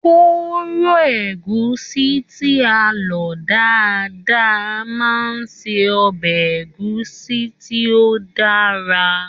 Kóró ẹ̀gúsí tí a lọ dáadáa máa ṣe ọbẹ̀ ẹ̀gúsí tí ó dára.